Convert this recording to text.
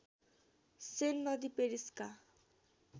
सेन नदी पेरिसका